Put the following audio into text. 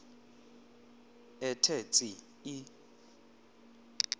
ethe tsi i